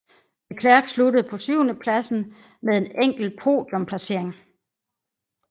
Leclerc sluttede på syvendepladsen med en enkelt podium placering